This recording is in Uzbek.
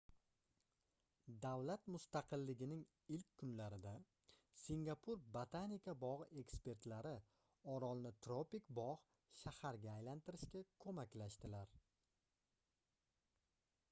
davlat mustaqilligining ilk kunlarida singapur botanika bogʻi ekspertlari orolni tropik bogʻ shaharga aylantirishga koʻmaklashdilar